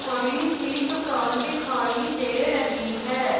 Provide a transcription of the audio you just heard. बड़ी सी दुकान दिखाई दे रही है।